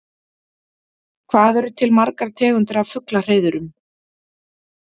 Hvað eru til margar tegundir af fuglahreiðrum?